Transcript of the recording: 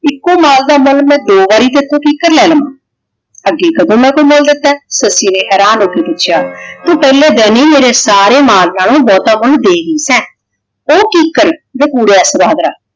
ਇਕੋ ਮਾਲ ਦਾ ਮੁੱਲ ਮੈ ਦੋ ਵਾਰੀ ਕੀਕਰ ਲੈ ਲਵਾਂ। ਹਾਂ ਜੀ ਮੈ ਕਦੋ ਕੋਈ ਮੁੱਲ ਦਿੱਤਾ ਹੈ? ਸੱਸੀ ਨੇ ਹੈਰਾਨ ਹੋ ਕੇ ਪੁੱਛਿਆ ਤੂੰ ਪਹਿਲੇ ਦਿਨ ਈ ਮੇਰੇ ਸਾਰੇ ਮਾਲ ਨਾਲੋਂ ਬਹੁਤਾ ਕੁੱਝ ਦੇ ਗਈ ਸੈਂ ਉਹ ਕੀਕਣ ਜੋ ਕੁੜੇ ਇਸ ਤਰ੍ਹਾਂ ਹੈ।